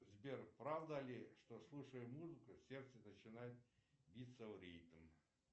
сбер правда ли что слушая музыку сердце начинает биться в ритм